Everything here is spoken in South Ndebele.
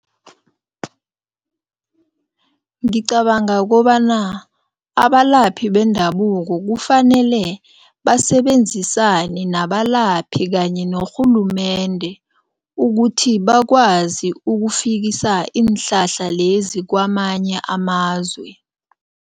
Ngicabanga kobana abalaphi bendabuko kufanele basebenzisane nabalaphi kanye norhulumende ukuthi bakwazi ukufikisa iinhlahla lezi kwamanye amazwe.